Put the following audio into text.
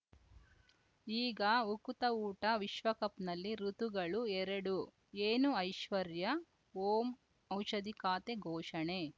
ಈಗ ಉಕುತ ಊಟ ವಿಶ್ವಕಪ್‌ನಲ್ಲಿ ಋತುಗಳು ಎರಡು ಏನು ಐಶ್ವರ್ಯಾ ಓಂ ಔಷಧಿ ಖಾತೆ ಘೋಷಣೆ